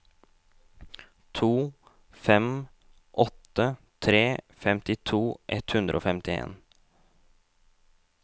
to fem åtte tre femtito ett hundre og femtien